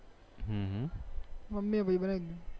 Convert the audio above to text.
mummy પહી બનાવી દીધું